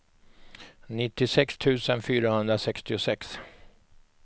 nittiosex tusen fyrahundrasextiosex